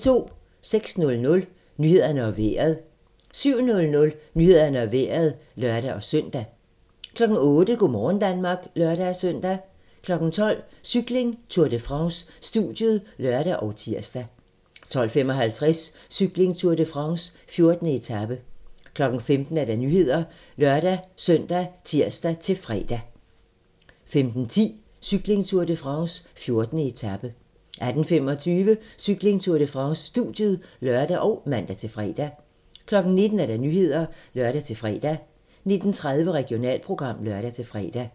06:00: Nyhederne og Vejret 07:00: Nyhederne og Vejret (lør-søn) 08:00: Go' morgen Danmark (lør-søn) 12:00: Cykling: Tour de France - studiet (lør og tir) 12:55: Cykling: Tour de France - 14. etape 15:00: Nyhederne (lør-søn og tir-fre) 15:10: Cykling: Tour de France - 14. etape 18:25: Cykling: Tour de France - studiet (lør og man-fre) 19:00: Nyhederne (lør-fre) 19:30: Regionalprogram (lør-fre)